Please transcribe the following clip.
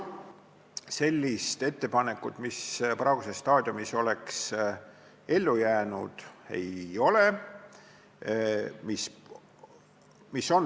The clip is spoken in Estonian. Sellist ettepanekut, mis praeguses staadiumis oleks ellu jäänud, ei ole.